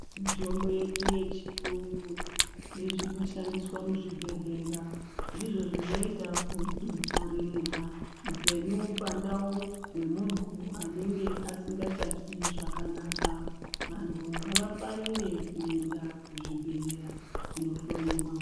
Mitombo yedu yechiyungu nezvinoshandiswa muchibhedhlera. Ndizvo zvinoita kudzoreredza upenyu pandau hwemunhu anenge asingachazwi zvakanaka. Vantu ngavafarire kuenda kuzvibhehlera kunohloyiwa.